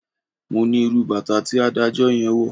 Mo ní irú bàtà tí adájọ́ yẹn wọ̀.